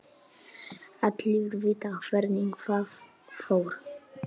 Allir vita hvernig það fór.